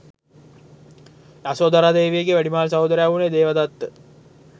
යසෝදරා දේවියගේ වැඩිමහල් සහෝදරයා වුනේ දේවදත්ත.